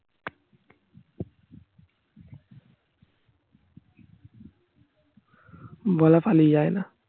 বলা পালিয়ে যায় না